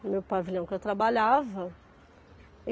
no meu pavilhão que eu trabalhava.